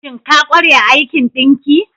Shin ka kware a aikin ɗinki?